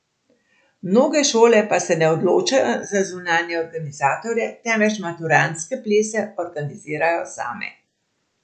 Mnoge šole pa se ne odločajo za zunanje organizatorje, temveč maturantske plese organizirajo same.